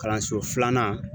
Kalanso filanan